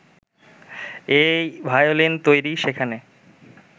এই ভায়োলিন তৈরি, সেখানে